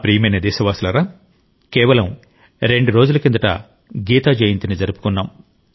నా ప్రియమైన దేశ వాసులారా కేవలం రెండు రోజుల కిందట గీతా జయంతి జరుపుకున్నాం